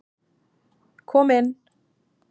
Kom inn.